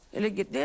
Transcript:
Elə get.